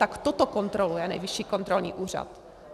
Tak toto kontroluje Nejvyšší kontrolní úřad.